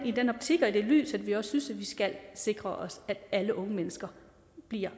i den optik og i det lys at vi også synes at vi skal sikre os at alle unge mennesker bliver